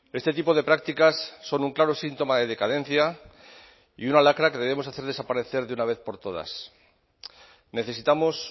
este tipo de prácticas son un claro síntoma de decadencia y una lacra que debemos hacer desaparecer de una vez por todas necesitamos